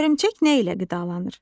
Hörümçək nə ilə qidalanır?